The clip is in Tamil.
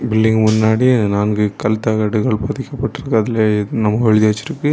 பில்டிங் முன்னாடி நான்கு கல் தகடுகள் பதிக்க பட்ருக்கு அதுல என்னவோ எழுதி வச்சிருக்கு.